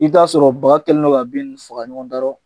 I be t'aa sɔrɔ baga kɛlen do ka bin ninnu faga ɲɔgɔn da rɔ